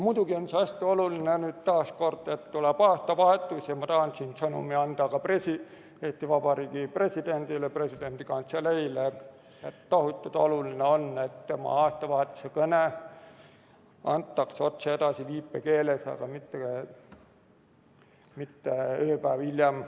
Muidugi on see hästi oluline, kui nüüd taas kord tuleb aastavahetus ja ma tahan siin sõnumi anda ka Eesti Vabariigi Presidendile, Vabariigi Presidendi Kantseleile, et tohutult oluline on, et presidendi aastavahetuse kõne antaks otse edasi viipekeeles, aga mitte ööpäev hiljem.